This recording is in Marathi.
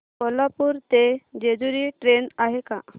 कोल्हापूर ते जेजुरी ट्रेन आहे का